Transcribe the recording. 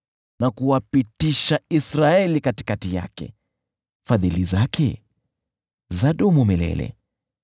Na kuwapitisha Israeli katikati yake, Fadhili zake zadumu milele .